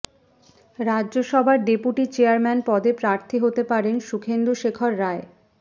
রাজ্যসভার deputy chairman পদে প্রার্থী হতে পারেন সুখেন্দুশেখর রায়